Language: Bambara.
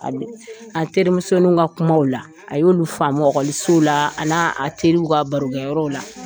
An' denmisɛnninw a terimusoninw ka kumaw la, a y'olu faamu ɔkɔlisow laa an'aa a teriw ka barokɛyɔrɔ la.